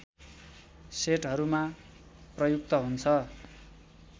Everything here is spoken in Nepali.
सेटहरूमा प्रयुक्त हुन्छ